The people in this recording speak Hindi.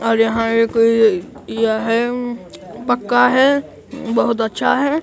और यहां एक ये यह पक्का है बहुत अच्छा है।